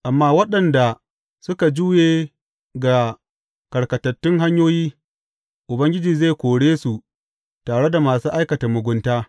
Amma waɗanda suka juye ga karkatattun hanyoyi Ubangiji zai kore su tare da masu aikata mugunta.